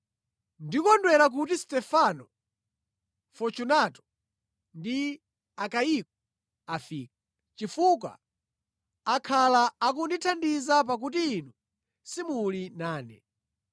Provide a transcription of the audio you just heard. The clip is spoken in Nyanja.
Ndikondwera kuti Stefano, Fortunato ndi Akayiko afika, chifukwa akhala akundithandiza pakuti inu simuli nane.